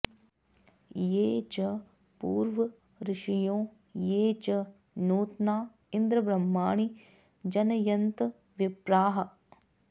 ये च पूर्व ऋषयो ये च नूत्ना इन्द्र ब्रह्माणि जनयन्त विप्राः